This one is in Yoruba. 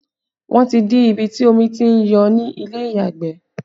Wọn ti dí ibi tí omi tí ń jò ni ilé ìyàgbẹ̀